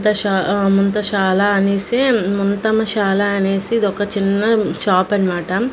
దశ ఆ ముంతశాల అనేసి ముంతమసాల అనేసి ఇదొక చిన్న షాపు అన్నమాట.